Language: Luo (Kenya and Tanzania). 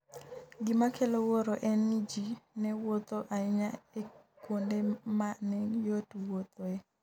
Gima kelo wuoro en ni ji ne wuotho ​​ahinya e kuonde ma ne yot wuothoe.